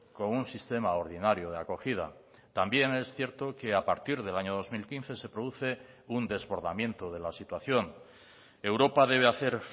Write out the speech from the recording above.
con un sistema ordinario de acogida también es cierto que a partir del año dos mil quince se produce un desbordamiento de la situación europa debe hacer